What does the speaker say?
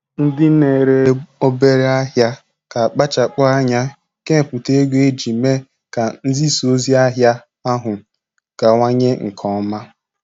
Ndị na-ere obere ahịa, ga akpachapụ anya kenyepụta ego iji mee ka nzisa ozi ahịa ahụ gawanye nke ọma.